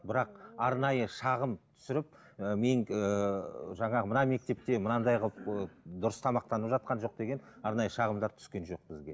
бірақ арнайы шағым түсіріп ыыы мен ыыы жаңағы мына мектепте мынандай қылып ы дұрыс тамақтанып жатқан жоқ деген арнайы шағымдар түскен жоқ бізге